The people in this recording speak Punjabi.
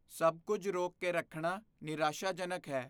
ਸਭ ਕੁੱਝ ਰੋਕ ਕੇ ਰੱਖਣਾ ਨਿਰਾਸ਼ਾਜਨਕ ਹੈ।